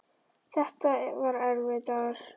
Þetta var erfiður dagur.